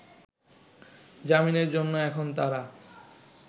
জামিনের জন্য এখন তারা